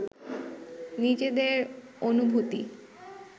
নিজেদের অনুভূতি